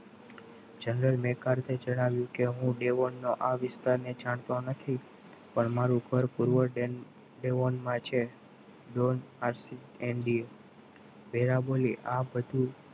general બેકાર છે જણાવ્યું કે હું દેવાના આ વિસ્તારને જાણતો નથી પણ મારું ભર પુરવઠે એ વનમાં છે. drone આજક ધ candy વેરા બોલી આ બધું